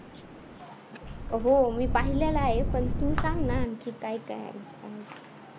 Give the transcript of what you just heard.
हो मी पाहिलेला आहे पण तू सांग ना आणखीन काय काय हाय